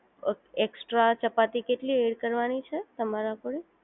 અ extra ચપાતી કેટલી add કરવાની છે તમારા માટે